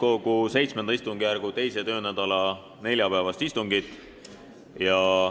Alustame Riigikogu täiskogu VII istungjärgu 2. töönädala neljapäevast istungit.